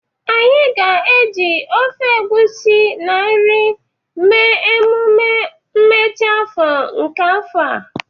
Anyị ga-eji ofe egusi na nri mee emume mmechi afọ nke afọ a.